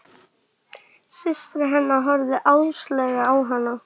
Systir hennar horfði háðslega á hana.